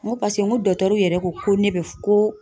N ko paseke n ko yɛrɛ ko ne be ko